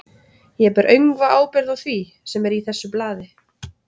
Ég ber öngva ábyrgð á því, sem er í þessu blaði.